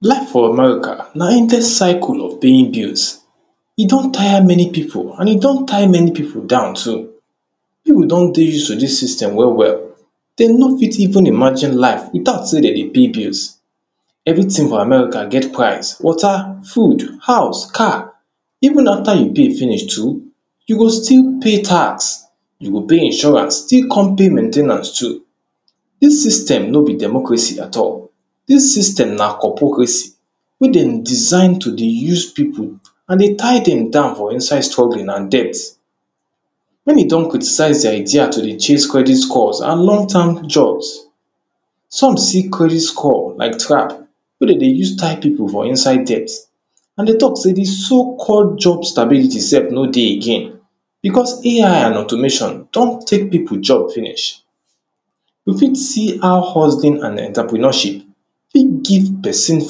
Life for America na endless circle of paying bills, e don tire many pipu and e don tie many pipu down too pipu don dey use to dis system well well, dey no pity even imagine life without sey dey dey pay bills. Everytin for American get prize, water, food, house, car, even after you pay finish you go still pay tax, you go pay insurance still kon pay maintainance too, dis system no be democracy at all, dis system na opocracy wey dey design to dey use pipu and to tie dem down for inside struggling and debts, wen e don criticise di idea to dey chase credit scores and long time jobs some see credit scores like trap wey dey use tie pipu for inside debt and dey talk sey di so called job stability sef no dey again becos AI automation don take pipu job finish you fit see how hustling and entrepreneurship fit give pesin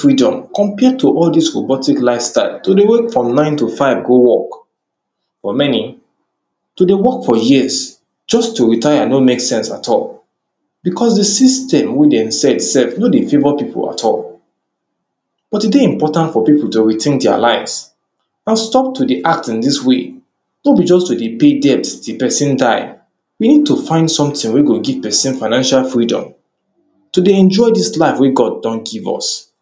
freedom compare to all dis robotic lifestyle to dey wake from nine to five go work for many to dey work for years just to retire no make sense at all becos di system wey dem set sef no dey favour pipu at all but e dey important for pipu to retink dia lives and stop to dey act in dis way no be just to dey pay debt till you die find we need to find sometin wey go give somebody financial freedom to dey enjoy dis life wey God don give us.